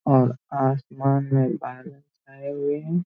और आसमान में बादल छाए हुए हैं।